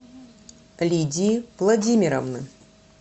лидии владимировны